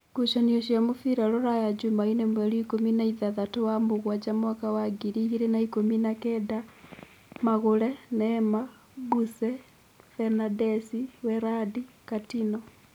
Ngucanio cia mũbira Ruraya Jumaine mweri ikũmi na ithathatũ wa-mũgwanja mwaka wa ngiri igĩrĩ na ikũmi na-kenda: Magũre, Neema, Buse, Fanadesi, weradi, Katino.